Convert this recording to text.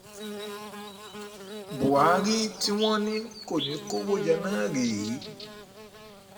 buhari tí wọ́n ní kò ní kó owó jẹ náà rèé o